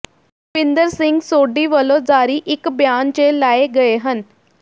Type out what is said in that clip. ਦਵਿੰਦਰ ਸਿੰਘ ਸੋਢੀ ਵਲੋਂ ਜਾਰੀ ਇਕ ਬਿਆਨ ਚ ਲਾਏ ਗਏ ਹਨ